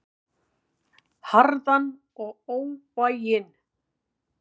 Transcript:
Harðan og óvæginn.